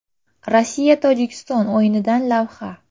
Rossiya – Tojikiston o‘yinidan lavha.